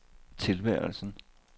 tilværelsen